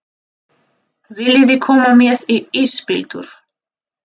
Viljiði koma með í ísbíltúr?